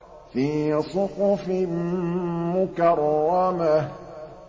فِي صُحُفٍ مُّكَرَّمَةٍ